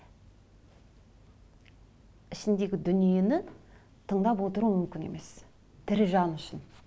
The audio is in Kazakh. ішіндегі дүниені тыңдап отыру мүмкін емес тірі жан үшін